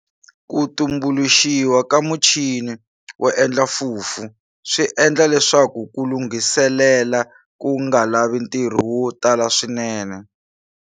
Ku tumbuluxiwa ka muchini wo endla fufu swi endle leswaku ku lunghiselela ku nga lavi ntirho wo tala swinene.